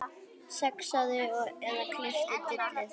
Saxaðu eða klipptu dillið.